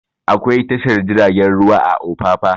Akwai tashar jiragen ruwa a opapa